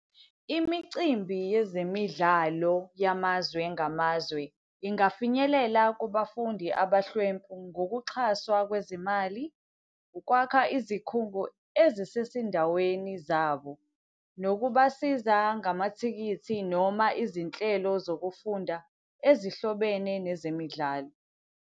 Imicimbi yezemidlalo yamazwe ngamazwe ingafinyelela kubafundi abahlwempu ngokuxhaswa kwezimali, ukwakha izikhungo ezisesindaweni zabo, nokubasiza ngamathikithi noma izinhlelo zokufunda ezihlobene nezemidlalo.